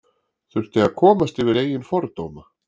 Þurfti að komast yfir eigin fordóma